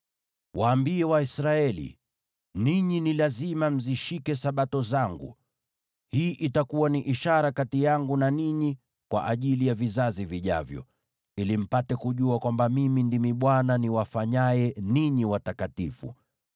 “Waambie Waisraeli, ‘Ninyi ni lazima mzishike Sabato zangu. Hii itakuwa ni ishara kati yangu na ninyi kwa ajili ya vizazi vijavyo, ili mpate kujua kwamba Mimi Ndimi Bwana , niwafanyaye ninyi watakatifu.